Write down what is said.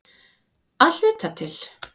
Að hluta til.